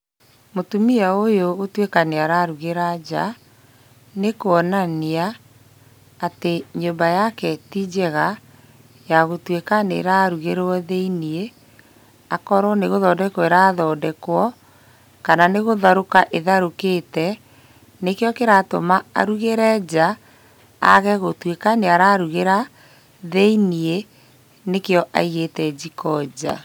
Mũtumia ũyũ gũtuĩka nĩ ararugĩra nja, nĩ kũonania atĩ nyũmba yake ti njega ya gũtuĩka nĩ ĩrarugĩrwo thĩiniĩ, akorwo nĩ gũthondekwo ĩrathondekwo, kana nĩ gũtharũka ĩtharũkĩte, nĩkĩo kĩratũma arugĩre nja age gũtuĩka nĩ ararugĩra thĩiniĩ nĩkĩo aigĩte njiko nja.